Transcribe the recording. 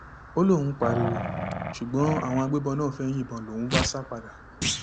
ó lóun pariwo ṣùgbọn àwọn agbébọn náà fẹẹ yìnbọn lòún bá sá padà